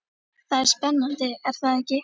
Það er spennandi er það ekki?